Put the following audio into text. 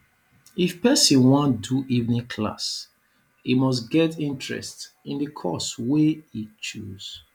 if persin wan do evening class e must get interest in the course wey e choose